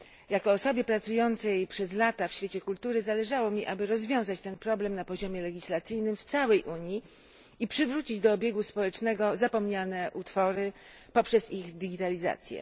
Jako osobie pracującej przez lata w świecie kultury, zależało mi, aby rozwiązać ten problem na poziomie legislacyjnym w całej Unii i przywrócić do obiegu społecznego zapomniane utwory poprzez ich digitalizację.